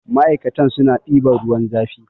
ma'aikata suna ɗiban ruwan zafi